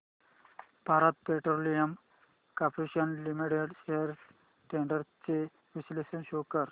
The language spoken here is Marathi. Bharat petroleum corporation limited shares trends चे विश्लेषण शो कर